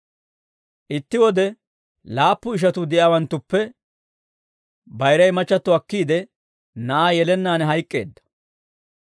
Itti wode laappu ishatuu de'iyaawanttuppe bayiray machchatto akkiide, na'aa yelennaan hayk'k'eedda.